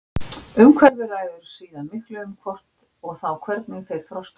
Umhverfið ræður síðan miklu um það hvort og þá hvernig þeir þroskast.